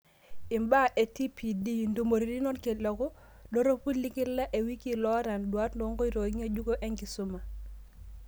Imbaa e TPD: Intumoritin orkiliku dorropu lekila ewiki loota induat oonkotoi ng'ejuko enkisuma